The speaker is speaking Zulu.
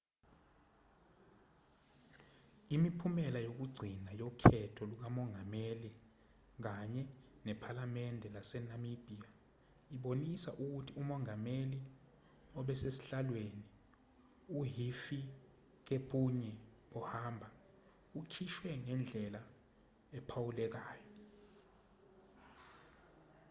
imiphumela yokugcina yokhetho lukamongameli kanye nephalamende lase-namibia ibonisa ukuthi umongameli obesesihlalweni u-hifikepunye pohamba ukhishwe ngendlela ephawulekayo